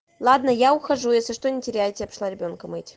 ладно я ухожу если что не теряйте я пошла ребёнка мыть